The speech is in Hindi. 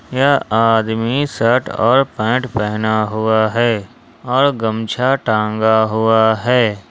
यह आदमी शर्ट और पैंट पहना हुआ है और गमछा टंगा हुआ है।